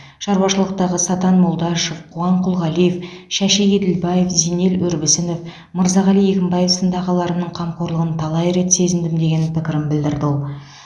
шаруашылықтағы сатан молдашев қуан құлғалиев шәши еділбаев зинел өрбісінов мырзағали егінбаев сынды ағаларымның қамқорлығын талай рет сезіндім деген пікірін білдірді ол